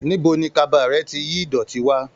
Níbo ni kaba rẹ ti yìí idọti wà?